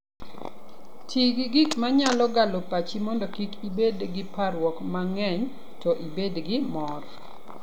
Ti gi gik ma nyalo galo pachi mondo kik ibed gi parruok mang'eny to ibed gi mor.